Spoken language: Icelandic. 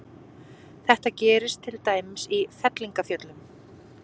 Þetta gerist til dæmis í fellingafjöllum.